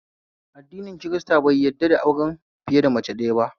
Addini kirista bai yadda da auren fiye da mace ɗaya ba